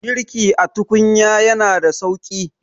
girki a tukunya yana da sauki